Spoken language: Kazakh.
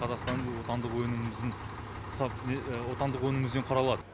қазақстанның отандық өнімімізден құралады